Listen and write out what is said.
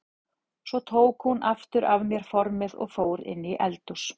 Svo tók hún aftur af mér formið og fór inn í eldhús.